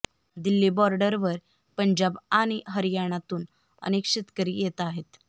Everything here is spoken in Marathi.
दिल्ली बॉर्डरवर पंजाब आणि हरियाणातून अनेक शेतकरी येत आहेत